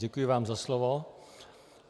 Děkuji vám za slovo.